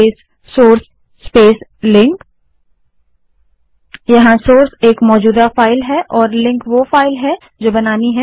ल्न space source space link जहाँ source एक मौजूदा फाइल है और लिंक वो फाइल है जो बनानी है